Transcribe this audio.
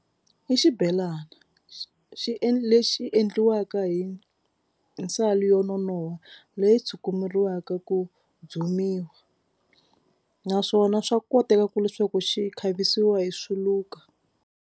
I xibelani xi endle lexi endliwaka hi nsalo yo nonoha leyi tshukumeriwaka ku dzumiwa naswona swa koteka ku leswaku xi khavisiwa hi swiluka.